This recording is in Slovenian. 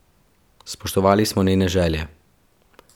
Spoštovali smo njene želje.